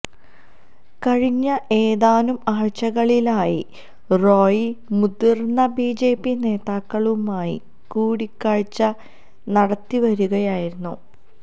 കഴിഞ്ഞ ഏതാനും ആഴ്ചകളിലായി റോയി മുതിർന്ന ബിജെപി നേതാക്കളുമായി കൂടിക്കാഴ്ച നടത്തിവരികയായിരുന്നു